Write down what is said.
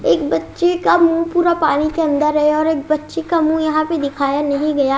एक बच्चे का मुंह पूरा पानी के अंदर है और एक बच्चे का मुंह यहां पे दिखाया नहीं गया--